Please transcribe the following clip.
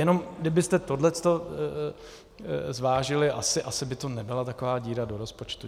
Jenom kdybyste tohle zvážili, asi by to nebyla taková díra do rozpočtu.